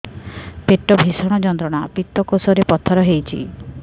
ପେଟ ଭୀଷଣ ଯନ୍ତ୍ରଣା ପିତକୋଷ ରେ ପଥର ହେଇଚି